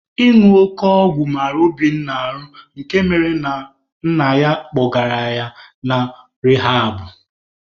Ịñụ oke ọgwụ mara Obinna ahụ nke mere na nna ya kpọgara ya na rihabụ.